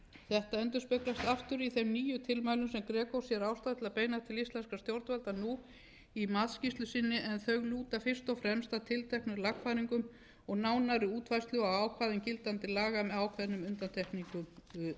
þetta endurspeglast aftur í þeim nýju tilmælum sem greco sér ástæðu til að beina til íslenskra stjórnvalda nú í matsskýrslu sinni en þau lúta fyrst og fremst að tilteknum lagfæringum og nánari útfærslu á ákvæðum gildandi laga með ákveðnum undantekningum þó